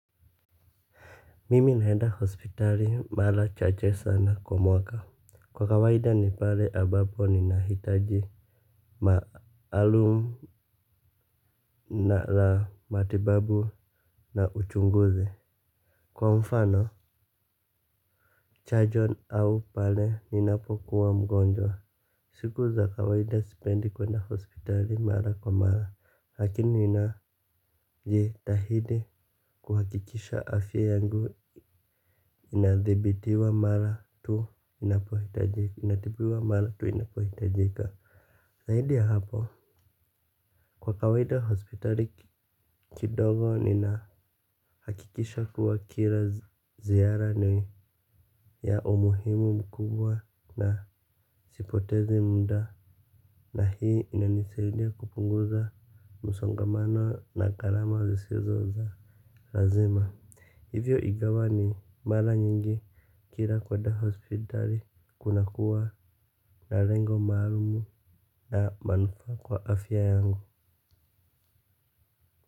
Mimi naenda hospitali mara chache sana kwa mwaka. Kwa kawaida ni pale ambapo ninahitaji maalum na matibabu na uchunguzi. Kwa mfano, chajon au pale ninapokuwa mgonjwa. Siku za kawaida sipendi kwenda hospitali mara kwa mara lakini ninajitahidi kuhakikisha afya yangu inadhibitiwa mara tu inapohitajika zaidi ya hapo kwa kawaida hospitali kidogo nina hakikisha kuwa kila ziara ni ya umuhimu mkubwa na sipotezi muda. Na hii inanisaidia kupunguza msongamano na gharama zisizoza lazima. Hivyo ingawa ni mara nyingi kila kwenda hospitali kunakua na lengo maalumu na manufaa kwa afya yangu.